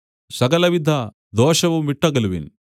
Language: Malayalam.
സകലവിധദോഷവും വിട്ടകലുവിൻ